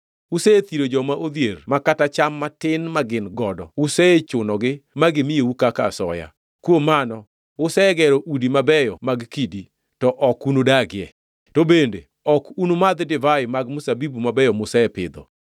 Usethiro joma odhier ma kata cham matin magin godo usechunogi ma gimiyou kaka asoya. Kuom mano, usegero udi mabeyo mag kidi, to ok unudagie, to bende ok unumadhi divai mag mzabibu mabeyo musepidho,